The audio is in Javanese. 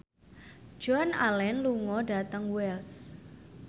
Joan Allen lunga dhateng Wells